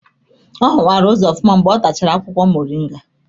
Ọ hụwara ụzọ ofụma mgbe ọ tachara akwụkwọ moringa.